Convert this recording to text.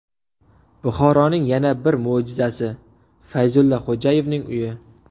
Buxoroning yana bir mo‘jizasi: Fayzulla Xo‘jayevning uyi .